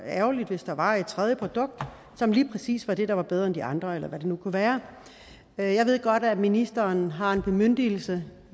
ærgerligt hvis der var et tredje produkt som lige præcis var det der var bedre end de andre eller hvad det nu kunne være jeg ved godt at ministeren har en bemyndigelse